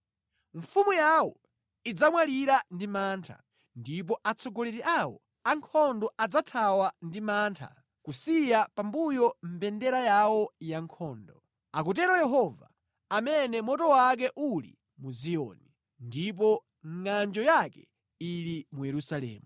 Mfumu yawo idzamwalira ndi mantha, ndipo atsogoleri awo ankhondo adzathawa ndi mantha kusiya pambuyo mbendera yawo ya nkhondo.” Akutero Yehova, amene moto wake uli mu Ziyoni, ndipo ngʼanjo yake ili mu Yerusalemu.